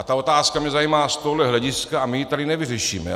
A ta otázka mě zajímá z tohohle hlediska a my ji tady nevyřešíme.